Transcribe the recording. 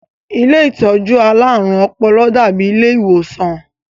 Ilé àwọn alárùn ọpọlọ dàábi ilé ìwòsàn